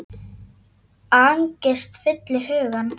Angist fyllir hugann.